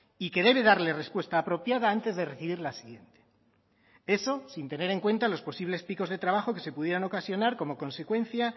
y que debe darle respuesta apropiada antes de recibir la siguiente eso sin tener en cuenta los posibles picos de trabajo que se pudieran ocasionar como consecuencia